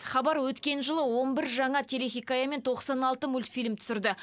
хабар өткен жылы он бір жаңа телехикая мен тоқсан алты мультфильм түсірді